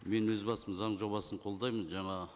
мен өз басым заң жобасын қолдаймын жаңа